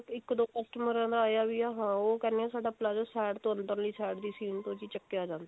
ਇੱਕ ਦੋ customer ਦਾ ਆਇਆ ਵੀ ਹੈ ਉਹ ਕਹਿੰਦੇ ਨੇ ਸਾਡਾ palazzo side ਤੋਂ ਅੰਦਰਲੀ side ਦੀ ਸੀਨ ਤੋਂ ਚੱਕਿਆ ਜਾਂਦਾ ਹੈ